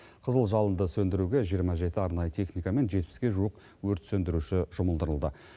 қызыл жалынды сөндіруге жиырма жеті арнайы техника мен жетпіске жуық өрт сөндіруші жұмылдырылды